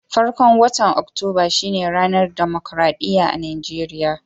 Farkon watan Oktoba shine ranar damukarɗiya a Najeriya.